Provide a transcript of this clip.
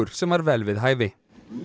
sem var vel við hæfi